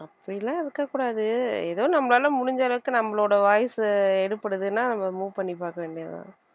அப்படியெல்லாம் இருக்கக் கூடாது ஏதோ நம்மளால முடிஞ்ச அளவுக்கு நம்மளோட voice சு எடுபடுதுன்னா நம்ம move பண்ணி பாக்க வேண்டியதுதான்